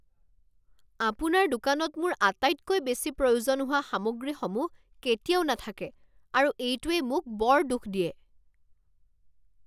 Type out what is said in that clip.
আপোনাৰ দোকানত মোৰ আটাইতকৈ বেছি প্ৰয়োজন হোৱা সামগ্ৰীসমূহ কেতিয়াও নাথাকে আৰু এইটোৱে মোক বৰ দুখ দিয়ে।